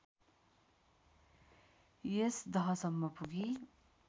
यस दहसम्म पुगी